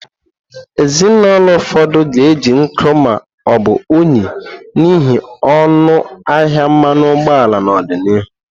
Ezinụlọ ụfọdụ ga-eji nkụ ma ọ bụ unyi n'ihi ọnụ ahịa mmanụ ụgbọala n'ọdịnihu.